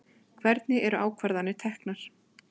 Hvernig eru ákvarðanir teknar?